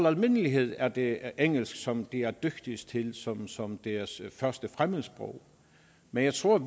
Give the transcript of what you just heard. almindelighed er det engelsk som de er dygtigst til som som deres første fremmedsprog men jeg tror